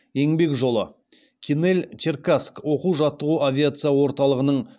еңбек жолы кинель черкасск оқу жаттығу авиация орталығының